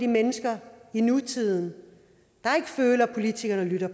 mennesker i nutiden der ikke føler at politikerne lytter